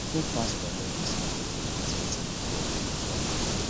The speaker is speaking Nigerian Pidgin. make pastors no deceive pipo wit wetin god no tok